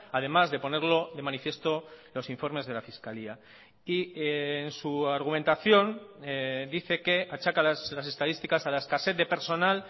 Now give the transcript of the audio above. además de ponerlo de manifiesto los informes de la fiscalía y en su argumentación dice que achaca las estadísticas a la escasez de personal